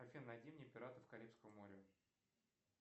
афина найди мне пиратов карибского моря